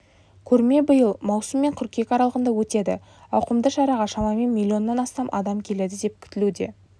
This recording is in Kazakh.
көрме биыл маусым мен қыркүйек аралығында өтеді ауқымды шараға шамамен миллионнан астам адам келеді деп күтілуде